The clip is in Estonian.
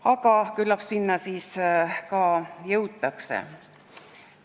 Aga küllap selleni ka jõutakse.